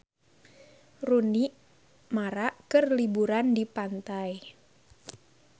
Rooney Mara keur liburan di pantai